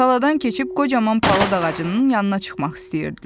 Taladan keçib qocaman palıd ağacının yanına çıxmaq istəyirdilər.